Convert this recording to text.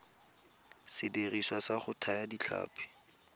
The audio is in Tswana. sediriswa sa go thaya ditlhapi